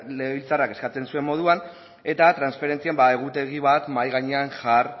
legebiltzarrak eskatzen zuen moduan eta transferentzien egutegi bat mahai gainean